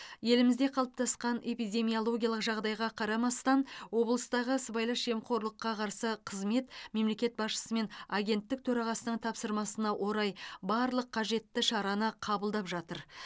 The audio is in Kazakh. елімізде қалыптасқан эпидемиологиялық жағдайға қарамастан облыстағы сыбайлас жемқорлыққа қарсы қызмет мемлекет басшысы мен агенттік төрағасының тапсырмасына орай барлық қажетті шараны қабылдап жатыр